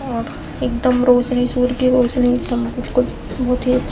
और एकदम रोशनी सूर की रोशनी एकदम बिलकुल बहोत ही अच्छा --